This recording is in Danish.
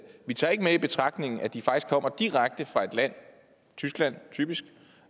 vi tager ikke med i betragtning at de faktisk kommer direkte fra et land tyskland typisk